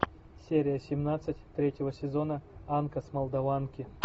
серия семнадцать третьего сезона анка с молдаванки